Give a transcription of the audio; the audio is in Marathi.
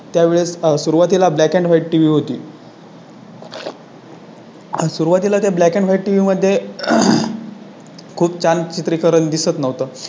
त्यावेळी सुरुवातीला Black and White TV होती. सुरुवातीला त्या Black and White TV मध्ये. खूप छान चित्रीकरण दिसत नव्हतं